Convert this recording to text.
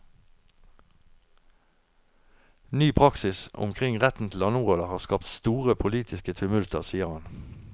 Ny praksis omkring retten til landområder har skapt store politiske tumulter, sier han.